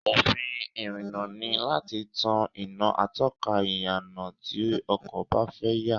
Òfin ìrìnnà ni láti tan iná atọ́ka ìyànà tí ọkọ̀ bá fẹ́ yà